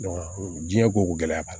diɲɛ koko gɛlɛya b'a la